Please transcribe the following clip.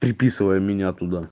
приписывай меня туда